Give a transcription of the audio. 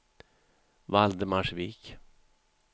Valdemarsvik